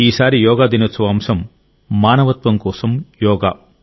ఈసారి యోగా దినోత్సవ అంశం మానవత్వం కోసం యోగా